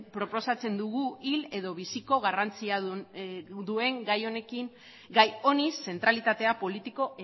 proposatzen dugu hil edo biziko garrantzia duen gai honi zentralitate politikoa